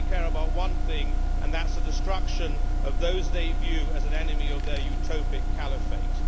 They only care about one thing, and that is the destruction of those they view as an enemy of their utopic caliphate.